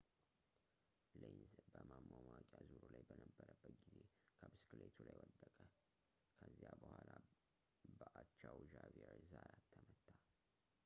ሌንዝ በማማሟቂያ ዙሩ ላይ በነበረበት ጊዜ ከብስክሌቱ ላይ ወደቀ ከዚያ በኋላ በአቻው ዣቪየር ዛያት ተመታ